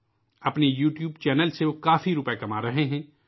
اپنے YouTube channel سے وہ کافی رقم کما رہے ہیں